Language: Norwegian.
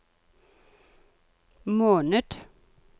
måned